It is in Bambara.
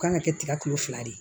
U kan ka kɛ tiga kilo fila de ye